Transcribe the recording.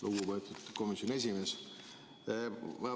Lugupeetud komisjoni esimees!